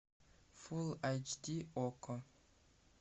фул айч ди окко